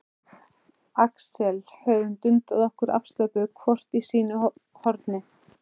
Axel höfum dundað okkur afslöppuð hvort í sínu horni.